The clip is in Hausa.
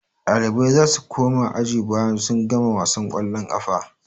Ɗalibai za su koma aji bayan sun gama wasan ƙwallon ƙafa.